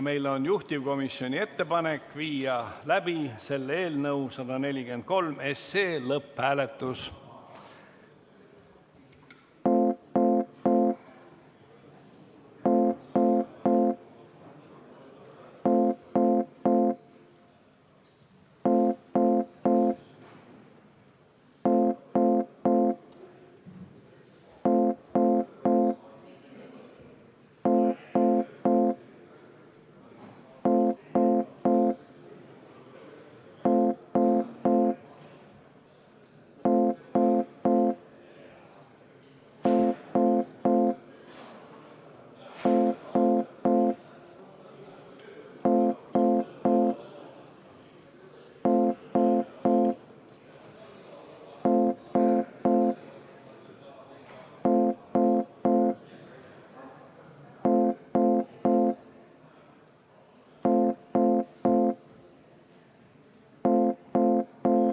Meil on juhtivkomisjoni ettepanek viia läbi eelnõu 143 lõpphääletus.